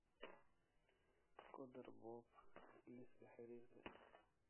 ku dar bob liiska xiriirka